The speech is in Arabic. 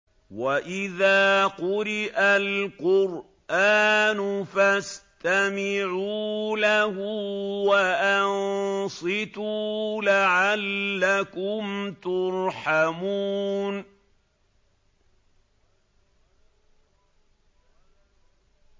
وَإِذَا قُرِئَ الْقُرْآنُ فَاسْتَمِعُوا لَهُ وَأَنصِتُوا لَعَلَّكُمْ تُرْحَمُونَ